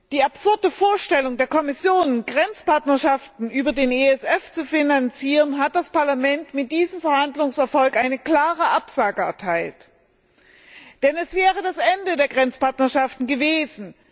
Der absurden Vorstellung der Kommission, Grenzpartnerschaften über den ESF zu finanzieren, hat das Parlament mit diesem Verhandlungserfolg eine klare Absage erteilt, denn es wäre das Ende der Grenzpartnerschaften gewesen.